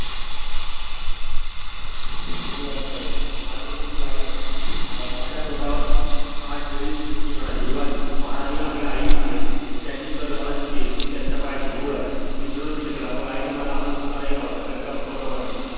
मिठी मारून म्हणालो. आज पासून मी तुला आई म्हण नार अं माझ्या तोंडावर हाथ ठेवीत ती म्हणाली युवराज महाराणी आपली आई आहेत. त्यांची सर मला कशी येईल मी त्यांच्या पायाची धूळ आहे. मी चिडून प्रश्न केला मग आईने मला आपल दूध का नाही पाजले. कालिकेने म्हणाली